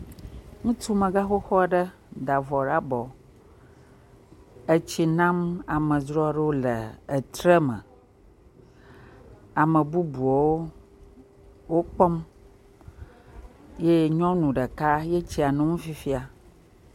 Ŋutsumexoxo aɖe da vɔ ɖe abɔ etsi nam amedzro aɖewo le etre me. Ame bubuwo wokpɔm. Yee nyɔnu ɖeka ye tsia nom fifia